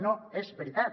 no és veritat